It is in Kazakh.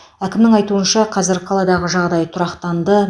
әкімнің айтуынша қазір қаладағы жағдай тұрақтанды